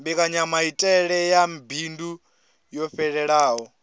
mbekanyamaitele ya bindu yo fhelelaho